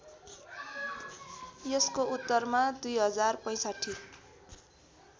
यसको उत्तरमा २०६५